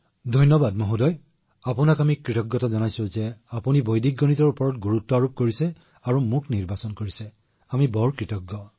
ধন্যবাদ মহোদয় মই আপোনাক ধন্যবাদ জনাইছো মহোদয় যে আপুনি বৈদিক গণিতক গুৰুত্ব দিছে আৰু মোক বাছনি কৰিছে গতিকে আমি অতিশয় কৃতজ্ঞ